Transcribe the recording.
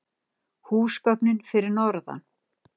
Húsgögnin fyrir norðan.